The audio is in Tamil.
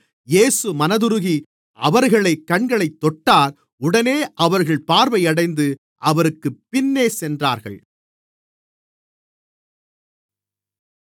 இயேசு மனதுருகி அவர்கள் கண்களைத் தொட்டார் உடனே அவர்கள் பார்வையடைந்து அவருக்குப் பின்னே சென்றார்கள்